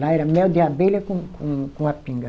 Lá era mel de abelha com com, com a pinga.